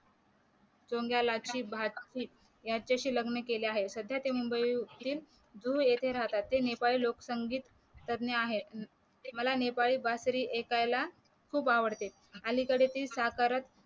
याच्याशी लग्न केलं आहे सध्या ते मुंबईतील जुहू येथे राहतात ते नेपाली लोक संगीत तज्ञ आहे मला नेपाली बासुरी ऐकायला खूप आवडते आणि कदाचित साकारात